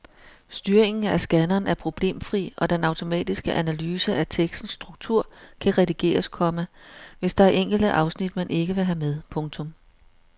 Styringen af scanneren er problemfri og den automatiske analyse af tekstens struktur kan redigeres, komma hvis der er enkelte afsnit man ikke vil have med. punktum